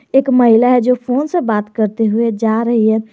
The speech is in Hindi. एक महिला है जो फोन से बात करते हुए जा रही है।